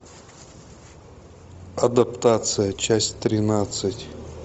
адаптация часть тринадцать